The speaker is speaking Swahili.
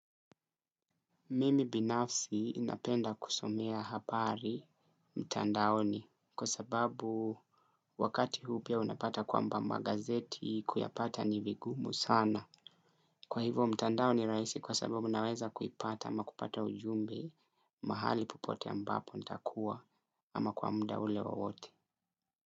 Mimi binafsi ninapenda kusomea habari mtandaoni kwa sababu wakati huu pia unapata kwamba magazeti kuyapata ni vigumu sana. Kwa hivo mtandao ni rahisi kwa sababu naweza kuipata ama kupata ujumbe mahali popote ambapo nitakuwa ama kwa muda ule wowote.